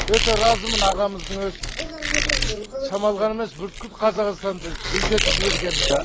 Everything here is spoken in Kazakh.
өте разымын ағамыздың өстіп шамалған емес бүткіл қазақстанды гүлдетіп жібергеніне